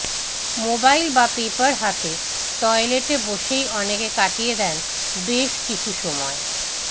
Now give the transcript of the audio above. mobile বা paper হাতে টয়লেটে বসেই অনেকে কাটিয়ে দেন বেশ কিছু সময়